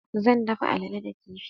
Zan dafa allale da kifi.